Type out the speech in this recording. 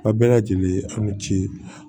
A bɛɛ lajɛlen an ka ci